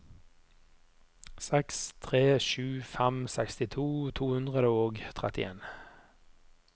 seks tre sju fem sekstito to hundre og trettien